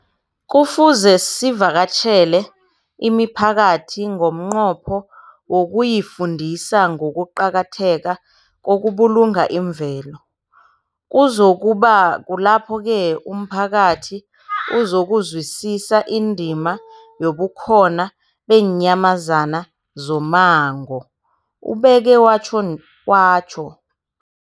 Kufuze sivakatjhele imiphakathi ngomnqopho wokuyifundisa ngokuqakatheka kokubulunga imvelo. Kuzoku ba kulapho-ke umphakathi uzokuzwisisa indima yobukhona beenyamazana zommango, ubeke watjho.